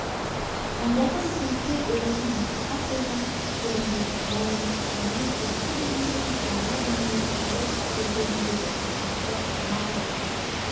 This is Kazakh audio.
ондағы өсімдіктер өзеннің мұхитқа құйған жеріндегідей мол емес дегенмен ескі дүние мен жаңа дүниенің жылы белдеуіндегі өсімдіктен анағұрлым